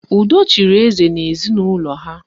Udo chịrị eze n'ezinụlọ ha